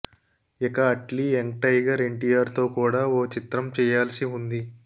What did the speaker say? ఇక Atlee young tiger NTR తో కూడా ఓ చిత్రం చేయాల్సి ఉంది